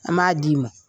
An b'a d'i ma